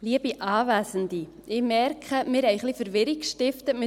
Ich merke, wir haben mit unserer Motion ein wenig Verwirrung gestiftet.